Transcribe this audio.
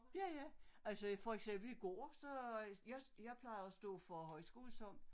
Ja ja i for eksempel i går så jeg plejede at stå for højskolesang